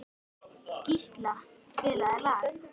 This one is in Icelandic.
Gísla, spilaðu lag.